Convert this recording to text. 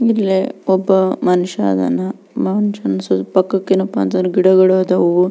ಇಲ್ಲೇ ಒಬ್ಬ ಮನುಷ್ಯ ಅದನ ಮನುಷ್ಯನ ಪಕ್ಕಕ್ಕೆ ಏನಪ್ಪಾ ಅಂದ್ರೆ ಗಿಡಗಳು ಆದವು.